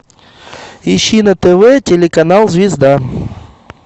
ищи на тв телеканал звезда